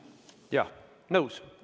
Jah, nõus.